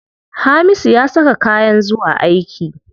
Hamisu ya saka kayan zuwa aiki.